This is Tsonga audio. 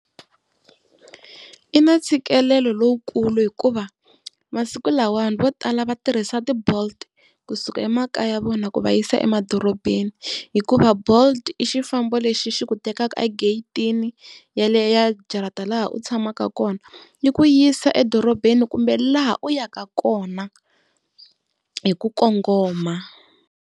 Yi na ntshikelelo lowukulu hikuva masiku lamawani vo tala va tirhisa ti-bolt kusuka emakaya ya vona ku va yisa emadorobeni. Hikuva bolt i xifambo lexi xi ku tekaka ageyitini yaleyo ya jarata laha u tshamaka kona. Yi ku yisa edorobeni kumbe laha u yaka kona hi ku kongoma.